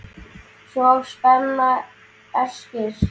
Svo spennan eykst.